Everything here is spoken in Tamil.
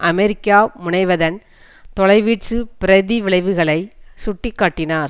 அமெரிக்கா முனைவதன் தொலை வீச்சு பிரதிவிளைவுகளை சுட்டி காட்டினார்